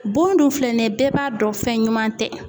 Bon dun filɛ nin ye bɛɛ b'a dɔn fɛn ɲuman tɛ.